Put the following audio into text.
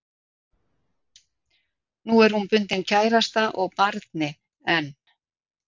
Nú er hún bundin kærasta og barni en